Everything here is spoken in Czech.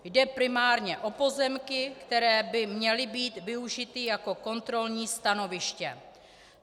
Jde primárně o pozemky, které by měly být využity jako kontrolní stanoviště.